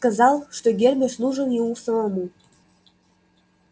сказал что гермес нужен ему самому